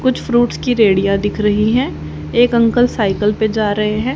कुछ फ्रूट्स की रेडिया दिख रही हैं एक अंकल साइकिल पे जा रहे हैं।